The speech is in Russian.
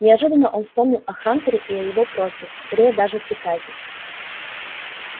неожиданно он вспомнил о хантере и о его просьбе скорее даже приказе